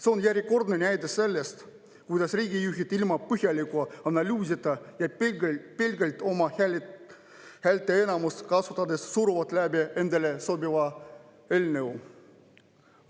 See on järjekordne näide selle kohta, kuidas riigijuhid ilma põhjaliku analüüsita ja pelgalt oma häälteenamust kasutades suruvad läbi endale sobiva eelnõu.